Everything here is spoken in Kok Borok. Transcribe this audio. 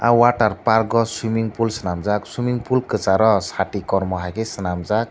water parkgo swimming pool sinamjak swimming pool kisaro sati kormo haike sinamjak.